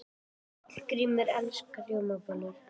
Hallgrímur elskar rjómabollur.